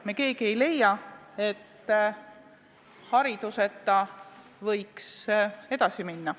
Me keegi ei leia, et hariduseta võiks edasi minna.